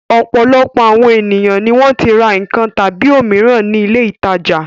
Ọ̀pọ̀lọpọ̀ àwọn ènìyàn ni wọ́n ti ra nǹkan tàbí òmíràn ní ilé-ìtajà.